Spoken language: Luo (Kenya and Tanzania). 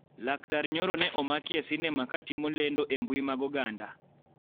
Laktar Nyoro ne omaki e sinema ka timo lendo e mbui mag oganda